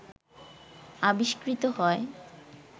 আবিস্কৃত হয়